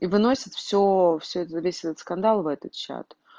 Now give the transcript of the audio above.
и выносят всё всё весь этот скандал в этот чат